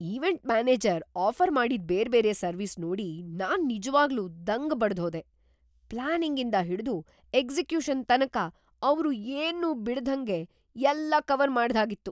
Event manager offer ಮಾಡಿದ್ ಬೇರ್ಬೇರೆ service ನೋಡಿ ನಾನ್‌ ನಿಜ್ವಾಗ್ಲೂ ದಂಗು ಬಡ್ದ್‌ಹೋದೆ - ಪ್ಲಾನಿಂಗಿಂದ ಹಿಡ್ದು ಎಕ್ಸಿಕ್ಯೂಷನ್‌ ತನಕ ಅವ್ರು ಏನ್ನೂ ಬಿಡ್ದಂಗ್ ಎಲ್ಲಾ ಕವರ್‌ ಮಾಡ್ದ್‌ಹಾಗಿತ್ತು!